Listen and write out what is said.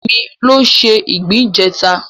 Kemi ló se ìgbín ìjẹta